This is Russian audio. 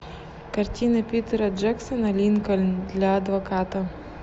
картина питера джексона линкольн для адвоката